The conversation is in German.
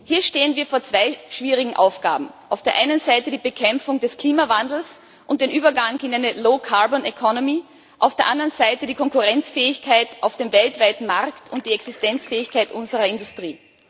Hier stehen wir vor zwei schwierigen Aufgaben auf der einen Seite die Bekämpfung des Klimawandels und der Übergang in eine low carbon economy auf der anderen Seite die Konkurrenzfähigkeit auf dem weltweiten Markt und die Existenzfähigkeit unserer Industrie.